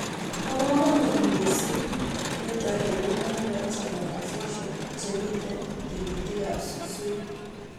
Bo komonut missing nito eng women's rights organisations chemitei grassroots